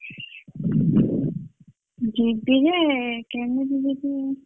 ଯିବି ଯେ କେମିତି ଯିବି?